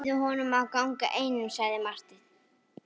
Leyfið honum að ganga einum, sagði Marteinn.